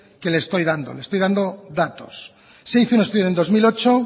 que le estoy dando le estoy dando datos se hizo un estudio en dos mil ocho